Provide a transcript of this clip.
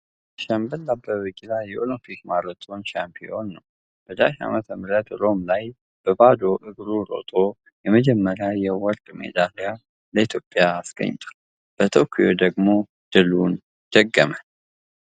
ሻምበል አበበ ቢቂላ የኦሎምፒክ ማራቶን ሻምፒዮን ነው። በ፲፱፻፶፪ ዓ.ም ሮም ላይ በባዶ እግሩ ሮጦ የመጀመሪያውን የወርቅ ሜዳሊያ ለኢትዮጵያ አስገኝቷል። በቶኪዮ ደግሞ ድሉን ደገመ።